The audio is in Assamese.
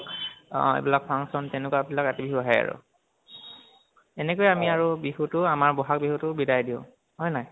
অহ আইবিলাক function তেনেকোৱা বিলাক ৰাতি বিহু আহে আৰু। এনেকৈয়ে আমি আৰু বিহুটো আমাৰ বহাগ বিহুটোক বিদায় দিওঁ। হয়নে নহয়?